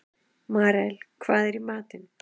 Marel, hvað er í matinn?